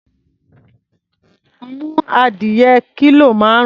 Mú adìyẹ kílò márùn-ún.